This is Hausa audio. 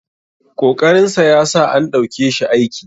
ƙoƙarinsa ya sa an ɗauke shi aiki